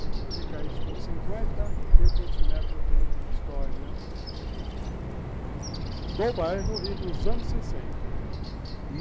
Multiplica isso por cinquenta, vê quantos metros tem de história do bairro e dos anos sessenta.